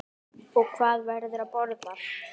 Og hvað verður að borða?